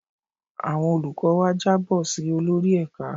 Àwọn olùkọ́ wa jábọ̀ si olórí ẹ̀ka.